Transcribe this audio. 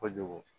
Kojugu